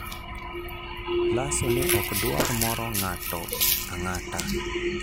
Lasso ne ok dwar moro ng'ato ang'ata...